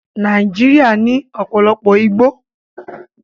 Nàìjíríà ní ọ̀pọ̀lọpọ̀ igbó